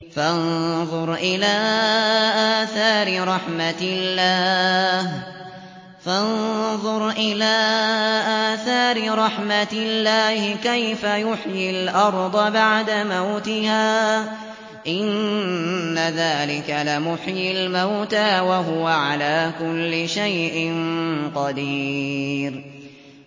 فَانظُرْ إِلَىٰ آثَارِ رَحْمَتِ اللَّهِ كَيْفَ يُحْيِي الْأَرْضَ بَعْدَ مَوْتِهَا ۚ إِنَّ ذَٰلِكَ لَمُحْيِي الْمَوْتَىٰ ۖ وَهُوَ عَلَىٰ كُلِّ شَيْءٍ قَدِيرٌ